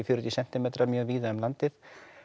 fjörutíu sentímetra mjög víða um landið